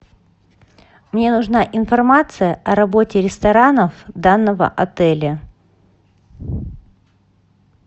мне нужна информация о работе ресторанов данного отеля